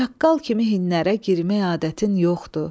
Çaqqal kimi hinnərə girmək adətin yoxdur.